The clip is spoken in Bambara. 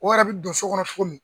O yɛrɛ bɛ don so kɔnɔ cogo min.